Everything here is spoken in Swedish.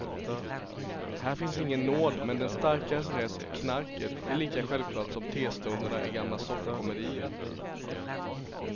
Här finns ingen nåd men den starkares rätt, knarket är lika självklart som testunderna i gamla soffkomedier.